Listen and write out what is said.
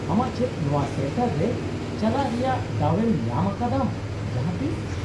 -ᱟᱢᱟᱜ ᱪᱮᱫ ᱱᱚᱶᱟ ᱥᱮᱱᱴᱟᱨ ᱨᱮ ᱪᱟᱞᱟᱜ ᱨᱮᱭᱟᱜ ᱫᱟᱣ ᱮᱢ ᱧᱟᱢ ᱟᱠᱟᱫᱟᱢ ᱡᱟᱦᱟᱸᱛᱤᱥ ?